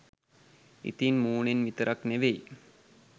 ඉතින් මූනෙන් විතරක් නෙවෙයි